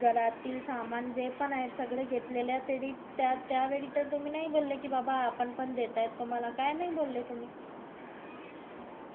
घरातील सामान जे पण आहे ते सगळं घेतलेला तरी त्या त्या वेळी त नाही बोले कि बाबा आपण पण देतायत तुम्हला काय नाय बोले तुम्ही